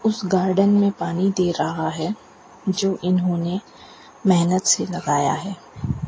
उस गार्डन में पानी दे रहा है जो इन्होंने मेहनत से लगाया है।